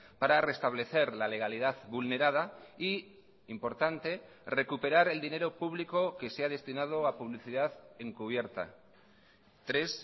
para reestablecer la legalidad vulnerada y importante recuperar el dinero público que se ha destinado a publicidad encubierta tres